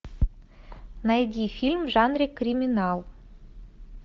найди фильм в жанре криминал